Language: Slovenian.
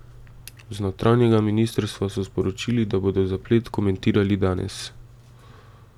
Z notranjega ministrstva so sporočili, da bodo zaplet komentirali danes.